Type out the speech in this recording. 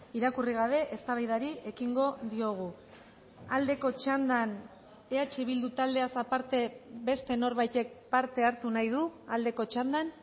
irakurri gabe eztabaidari ekingo diogu aldeko txandan eh bildu taldeaz aparte beste norbaitek parte hartu nahi du aldeko txandan